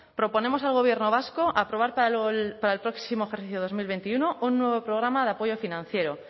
proponemos al gobierno vasco aprobar para el próximo ejercicio dos mil veintiuno un nuevo programa de apoyo financiero